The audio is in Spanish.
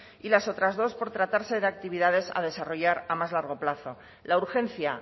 y las otras dos por tratarse de actividades a desarrollar a más largo plazo la urgencia